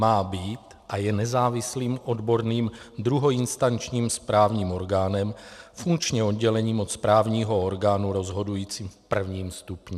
Má být a je nezávislým odborným druhoinstančním správním orgánem, funkčně odděleným od správního orgánu rozhodujícího v prvním stupni.